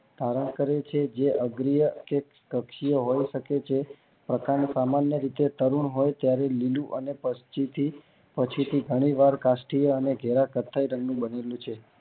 ધારણ કરે છે જે અગરીય કે વૈભવ પકવે છે પ્રકાંડ સામાન્ય રીતે તરુણ હોય છે જયારે મૂળ અને પછી થી પછી થી ઘણી વાર કાષ્ઠીય ઘેરા કથ્થાઈ રંગ નું બને લઉં છે